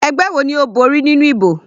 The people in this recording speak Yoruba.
Ẹgbẹ́ wo ni Ó borí nínú ìbò?